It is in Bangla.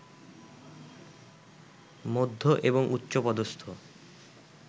মধ্য এবং উচ্চ পদস্থ